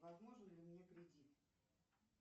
возможен ли мне кредит